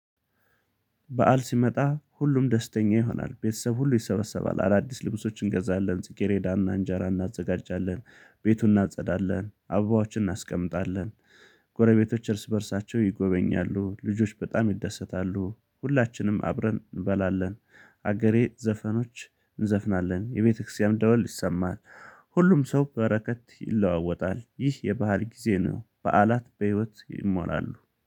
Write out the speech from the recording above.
በዓል ሲመጣ ሁሉም ደስተኛ ይሆናል ቤተሰብ ሁሉ ይሰበሰባል አዳዲስ ልብሶችን እንገዛለን ጽጌሬዳና እንጀራ እናዘጋጃለን ቤቱን እናጸዳለን አባባዎችን እናስቀምጣለን። ጎረቤቶች እርስ በእርሳቸው ይጎበኛሉ ልጆች በጣም ይደሰታሉ ሁላችንም አብረን እንበላለን። ሀገሬ ዘፈኖች እንዘፍናለን የቤተክርስቲያን ደወል ይሰማታል። ሁሉም ሰው በረከት ይለዋወጣል ይህ የባህል ጊዜ ነው። በዓላት በህይወት ይሞላሉ